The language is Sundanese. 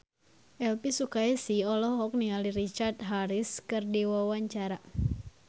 Elvy Sukaesih olohok ningali Richard Harris keur diwawancara